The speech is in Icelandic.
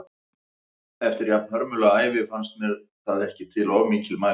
Eftir jafnhörmulega ævi fannst mér það ekki til of mikils mælst.